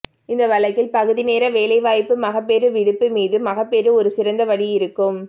இந்த வழக்கில் பகுதிநேர வேலைவாய்ப்பு மகப்பேறு விடுப்பு மீது மகப்பேறு ஒரு சிறந்த வழி இருக்கும்